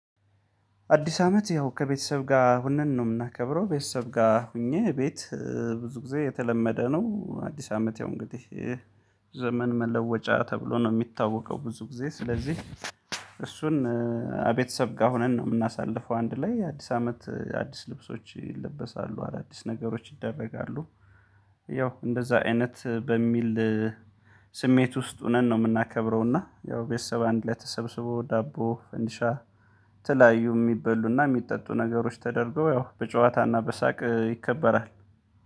አዲስ አመት ያው ከቤተሰብ ጋር ሁነን ነው የምናከብረው ቤተሰብ ጋር ሆኜ ቤት ብዙ ጊዜ የተለመደ ነው አዲስ አመት ያው እንግዲህ ዘመን መለወጫ ተብሎ ነው የሚታወቀው ብዙ ጊዜ ስለዚህ እሱን ከቤተሰብ ጋር ሆነን ነው የምናሳልፈው አንድ ላይ አዲስ አመት አዲስ ልብሶች ይለበሳሉ፣ አዳዲስ ነገሮች ይደረጋሉ፣ ያው እንደዛ አይነት በሚል ስሜት ውስጥ ሆነን ነው የምናከብረው እና ያው ቤተሰብ አንድ ላይ ተሰብስቦ ዳቦ ፈንዲሻ ተለያዩ የሚበሉና የሚጠጡ ነገሮች ተደርገው ያው በጨዋታና በሳቅ ይከበራል።